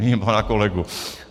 Vidím pana kolegu.